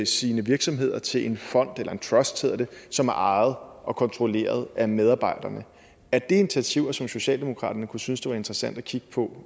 sine virksomheder til en fond eller en trust hedder det som er ejet og kontrolleret at medarbejderne er det initiativer som socialdemokraterne kunne synes var interessante at kigge på